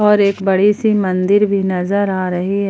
और एक बड़ी सी मंदिर भी नजर आ रही है।